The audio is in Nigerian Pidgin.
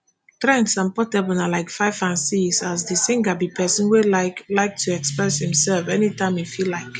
trends and portable na like five and six as di singer be pesin wey like like to express imself anytime im feel like